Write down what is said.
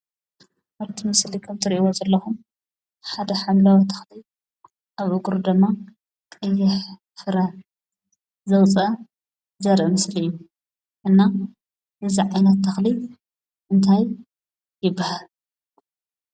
ኣብቲ ምስሊ ከም እትርእዎ ዘለኹም ሓደ ሓምላዊ ተኽሊ ኣብ እግሩ ድማ ቀይሕ ፍረ ዝውፅአ ዘርኢ ምስሊ እዩ። እና እዚ ዓይነት ተኽሊ እንታይ ይብሃል?